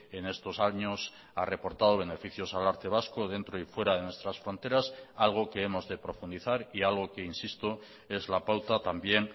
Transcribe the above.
en estos años ha reportado beneficios al arte vasco dentro y fuera de nuestras fronteras algo que hemos de profundizar y algo que insisto es la pauta también